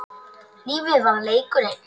Lífið var leikur einn.